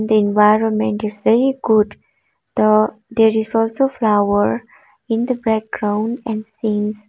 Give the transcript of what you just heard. environment is very good the there is also flower in the background and scenes.